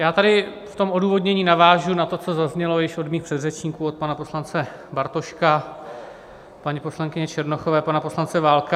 Já tady v tom odůvodnění navážu na to, co zaznělo již od mých předřečníků, od pana poslance Bartoška, paní poslankyně Černochové, pana poslance Válka.